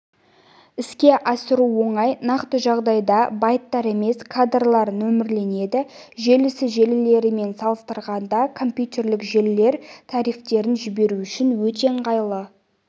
іске асыру оңай нақты жағдайда байттар емес кадрлар нөмірленеді желісі желілерімен салыстырғанда компьютерлік желілер трафиктерін жіберу үшін өте ыңғайлы